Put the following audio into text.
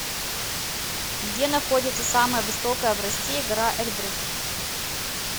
где находится самая высокая в россии гора эльбрус